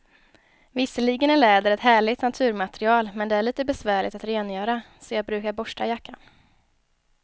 Visserligen är läder ett härligt naturmaterial, men det är lite besvärligt att rengöra, så jag brukar borsta jackan.